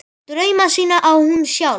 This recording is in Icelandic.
Drauma sína á hún sjálf.